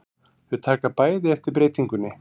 Þau taka bæði eftir breytingunni.